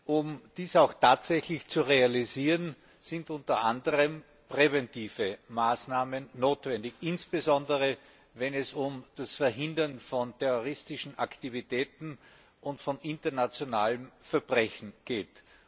Um dies auch tatsächlich zu realisieren, sind unter anderem präventive Maßnahmen notwendig, insbesondere wenn es um das Verhindern von terroristischen Aktivitäten und von internationalem Verbrechen geht.